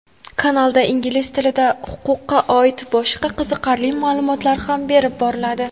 kanalda ingliz tilida huquqqa oid boshqa qiziqarli ma’lumotlar ham berib boriladi.